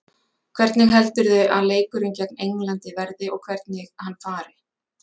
Hvernig heldurðu að leikurinn gegn Englandi verði og hvernig hann fari?